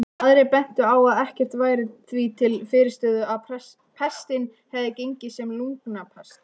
Aðrir bentu á að ekkert væri því til fyrirstöðu að pestin hefði gengið sem lungnapest.